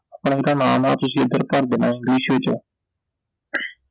ਹੁਣ ਆਪਦਾ ਨਾਮ ਆ ਤੁਸੀਂ ਉਹ ਇਧਰ ਭਰ ਦੇਣਾ ਵਿਸ਼ੇ ਚੋਂ